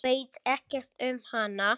Veit ekkert um hana.